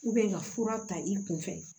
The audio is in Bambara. ka fura ta i kun fɛ